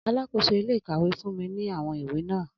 Alakoso ile-ikawe fun mi ni awọn iwe naa